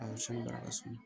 A sɔn bara ka suma